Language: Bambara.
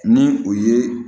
Ni o ye